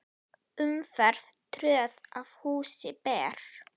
Umferð tröð að húsi ber.